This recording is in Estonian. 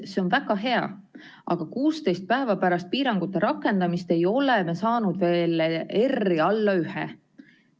See on väga hea, aga 16 päeva pärast piirangute rakendamist ei ole me saanud veel R-i alla ühe.